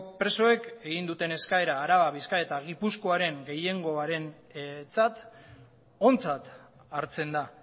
presoek egin duten eskaera araba bizkaia eta gipuzkoaren gehiengoarentzat ontzat hartzen da